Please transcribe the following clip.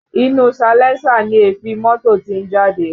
Inú salẹńsà ni èéfín mọ́tò tí ń jáde